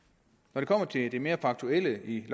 når det kommer til det mere faktuelle i